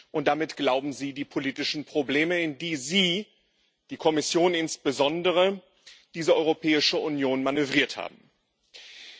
Und damit glauben Sie, die politischen Probleme, in die Sie die Kommission insbesondere diese Europäische Union manövriert haben, zu lösen.